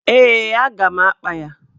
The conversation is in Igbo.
Ee, a ga m akpa ya.